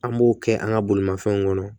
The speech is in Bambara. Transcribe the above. An b'o kɛ an ka bolimafɛnw kɔnɔ